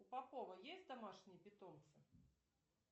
у попова есть домашние питомцы